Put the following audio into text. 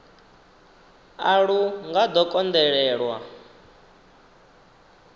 a lu nga ḓo konḓelelwa